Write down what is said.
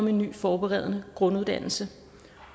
en ny forberedende grunduddannelse